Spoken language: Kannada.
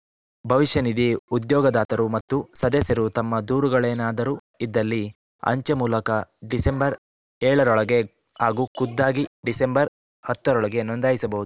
ಭವಿಷ್ಯ ನಿಧಿ ಉದ್ಯೋಗದಾತರು ಮತ್ತು ಸದಸ್ಯರು ತಮ್ಮ ದೂರುಗಳೇನಾದರೂ ಇದ್ದಲ್ಲಿ ಅಂಚೆ ಮೂಲಕ ಡಿಸೆಂಬರ್ ಏಳರೊಳಗೆ ಹಾಗೂ ಖುದ್ದಾಗಿ ಡಿಸೆಂಬರ್ ಹತ್ತರೊಳಗೆ ನೋಂದಾಯಿಸಬಹುದು